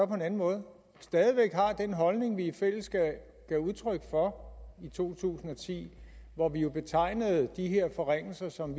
på en anden måde stadig væk har den holdning som vi i fællesskab gav udtryk for i to tusind og ti hvor vi jo betegnede de her forringelser som